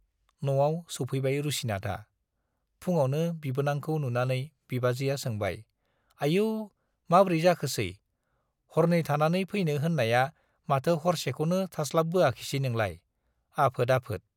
न'आव सौफैबाय रुसिनाथआ। फुङावनो बिबोनांखौ नुनानै बिबाजैया सोंबाय, आयौ माब्रै जाखोसै - हरनै थानानै फैनो होन्नाया माथो हरसेखौनो थास्लाबबोआखिसै नोंलाय? आफोद आफोद!